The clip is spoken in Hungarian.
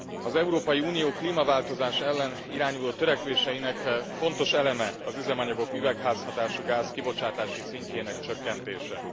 Az Európai Unió klímaváltozás ellen irányuló törekvéseinek fontos eleme az üzemanyagok üvegházhatásúgáz kibocsátási szintjének csökkentése.